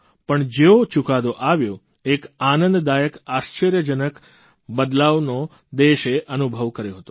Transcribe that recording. પણ જેવો ચૂકાદો આવ્યો એક આનંદદાયક આશ્ચર્યજનક બદલાવનો દેશે અનુભવ કર્યો હતો